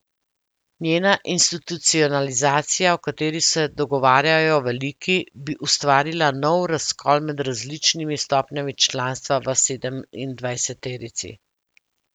Njena institucionalizacija, o kateri se dogovarjajo veliki, bi ustvarila nov razkol med različnimi stopnjami članstva v sedemindvajseterici.